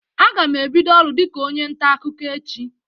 Aga m ebido ọrụ dịka onye nta akụkọ echi.